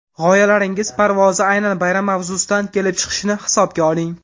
G‘oyalaringiz parvozi aynan bayram mavzusidan kelib chiqishini hisobga oling.